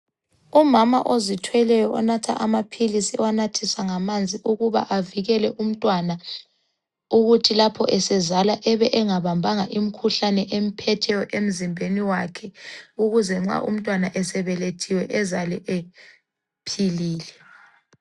Umama ozithweleyo onatha amaphilisi ewanathisa ngamanzi ukuba avikele umntwana ukuthi lapho esezalwa ebe engabambanga imikhuhlane emphetheyo emzimbeni wakhe ukuze nxa umntwana esebelethiwe ezalwe ephilile.